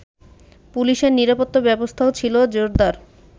পুলিশের নিরাপত্তা ব্যবস্থাও ছিলো জোরদার